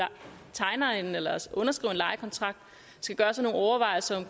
underskriver en lejekontrakt skal gøre sig nogle overvejelser